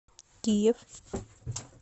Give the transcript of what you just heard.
киев